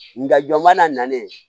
Nga jɔn mana na ne